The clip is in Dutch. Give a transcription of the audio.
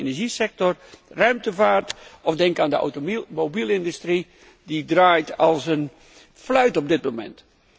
Ik denk aan de energiesector, de ruimtevaart of de automobielindustrie, die draait als een fluit op dit moment.